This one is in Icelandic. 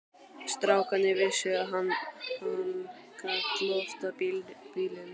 Strákarnir vissu að hann gat loftað bílum.